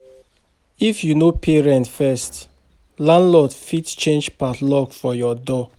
If you no pay rent first, landlord fit change padlock for your door.